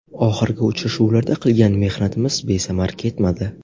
Oxirgi uchrashuvlarda qilgan mehnatimiz besamar ketmadi.